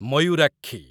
Mayurakshi